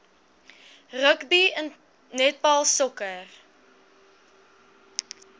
rugby netbal sokker